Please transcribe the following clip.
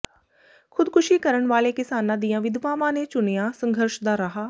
ਖੁਦਕੁਸ਼ੀ ਕਰਨ ਵਾਲੇ ਕਿਸਾਨਾਂ ਦੀਆਂ ਵਿਧਵਾਵਾਂ ਨੇ ਚੁਣਿਆ ਸੰਘਰਸ਼ ਦਾ ਰਾਹ